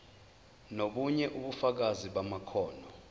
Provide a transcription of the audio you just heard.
nobunye ubufakazi bamakhono